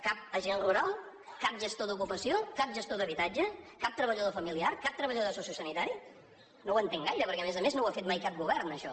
cap agent rural cap gestor d’ocupació cap gestor d’habitatge cap treballador familiar cap treballador sociosanitari no ho entenc gaire perquè a més a més no ho ha fet mai cap govern això